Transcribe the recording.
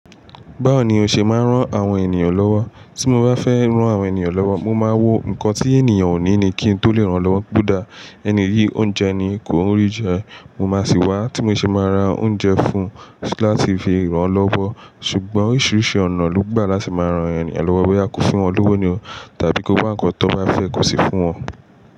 Báwo ni o ṣe máa ń rán àwọn ènìyàn lọ́wọ́? Tí mo bá fẹ́ rán àwọn ènìyàn lọ́wọ́, mo máa wo nǹkan tí ènìyàn ò ní ni kí n tó lè rán lọ́wọ́. Odá ẹni yìí oúnjẹ ni kò o rí jẹ, mo máa sì wá, tí mo ṣe máa ra oúnjẹ fún un láti fi rán lọ́wọ́. Ṣùgbọ́n oríṣiríṣi ọ̀nà ló gbà láti máa rán ènìyen lọ́wọ́. Bóyá ko fún wọn lówó nì o tàbí kó bá nǹkan tó bá fẹ́ kò ṣi fún wọn.